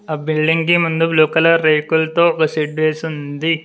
ఆ బిల్డింగ్ కి ముందు బ్లూ కలర్ రేకులతో ఒక షెడ్ వేసుంది.